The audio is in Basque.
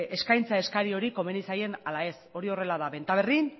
eskaintza eskari hori komeni zaien ala ez hori horrela da benta berrin